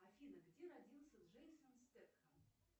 афина где родился джейсон стэтхем